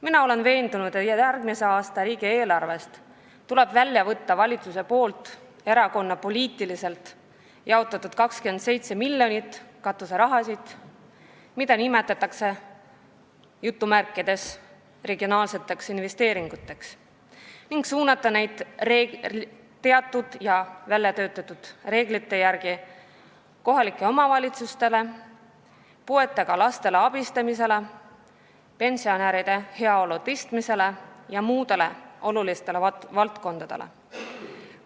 Mina olen veendunud, et järgmise aasta riigieelarvest tuleb välja võtta erakonnapoliitiliselt jaotatud 27 miljonit katuseraha, mida nimetatakse "regionaalseteks investeeringuteks", ning suunata need summad väljatöötatud reeglite järgi kohalikele omavalitsustele, puuetega laste abistamiseks, pensionäride heaolu suurendamiseks ja muudesse olulistesse valdkondadesse.